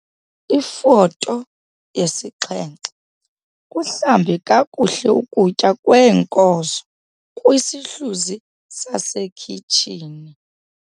Ifoto 7- kuhlambe kakuhle ukutya kweenkozo kwisihluzi sasekhitshini.